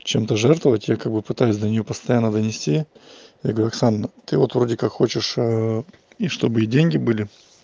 чем-то жертвовать якобы пытаюсь до неё постоянно донести я говорю оксан ты вот вроде как хочешь и чтобы и деньги были